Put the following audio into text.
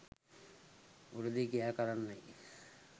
උරදී ක්‍රියා කරන්නැයි